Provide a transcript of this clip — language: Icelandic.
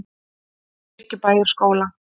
Kirkjubæjarskóla